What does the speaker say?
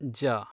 ಜ